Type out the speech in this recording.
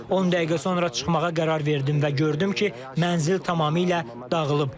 10 dəqiqə sonra çıxmağa qərar verdim və gördüm ki, mənzil tamamilə dağılıb.